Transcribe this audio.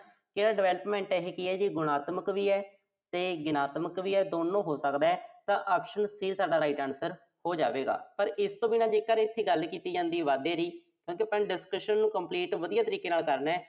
ਤੇ ਇਹ development ਇਹੋ ਜੀ ਚੀਜ਼ ਆ, ਜੋ ਗੁਣਤਾਮਕ ਵੀ ਆ ਤੇ ਰਿਣਾਤਮਕ ਵੀ ਐ। ਦੋਨੋਂ ਹੋ ਸਕਦਾ ਤਾਂ optionC ਤੁਹਾਡਾ right answer ਹੋ ਜਾਵੇਗਾ। ਪਰ ਇਸ ਤੋਂ ਬਿਨਾਂ ਜੇਕਰ ਇਥੇ ਗੱਲ ਕੀਤੀ ਜਾਂਦੀ ਆ ਵਾਧੇ ਦੀ, ਆਪਾਂ discussion ਨੂੰ complete ਵਧੀਆ ਤਰੀਕੇ ਨਾਲ ਕਰ ਲਿਆ।